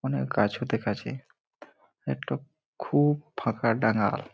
অনেক গাছও দেখাছে একটা খু-উ-ব ফাঁকা ডাঙাল--